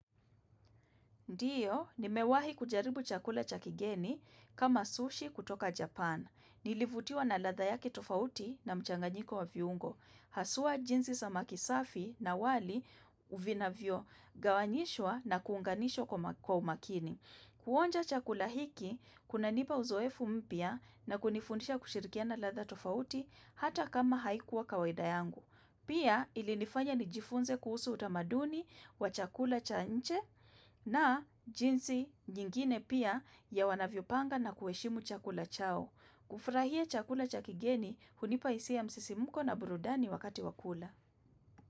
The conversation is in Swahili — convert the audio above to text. Ndiyo, nimewahi kujaribu chakula cha kigeni kama sushi kutoka Japan. Nilivutiwa na ladha yake tofauti na mchanganyiko wa viungo. Haswaa jinsi samaki safi na wali vinavyogawanyishwa na kuunganishwa kwa umakini. Kuonja chakula hiki, kunanipa uzoefu mpya na kunifundisha kushirikiana ladha tofauti hata kama haikuwa kawaida yangu. Pia ilinifanya nijifunze kuhusu utamaduni wa chakula cha nje na jinsi nyingine pia ya wanavyo panga na kuheshimu chakula chao. Kufurahia chakula cha kigeni hunipa hisia ya msisimuko na burudani wakati wakula.